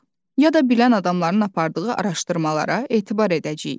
Ya da bilən adamların apardığı araşdırmalara etibar edəcəyik.